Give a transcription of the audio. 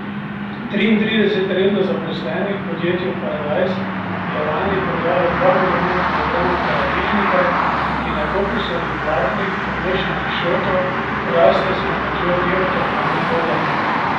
Triintrideset redno zaposlenih v podjetju Paradajz je lani prodalo dva milijona kilogramov paradižnika, ki na kokosovih vlaknih, pomešanih s šoto, raste s pomočjo geotermalne vode.